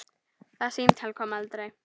Það símtal kom aldrei.